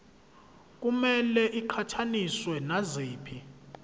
kumele iqhathaniswe naziphi